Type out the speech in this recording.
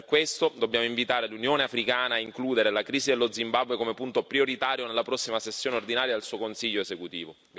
Per questo dobbiamo invitare l'Unione africana a includere la crisi dello Zimbabwe come punto prioritario nella prossima sessione ordinaria del suo Consiglio esecutivo.